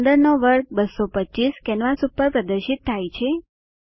15 નો વર્ગ 225 કેનવાસ ઉપર પ્રદર્શિત થાય છે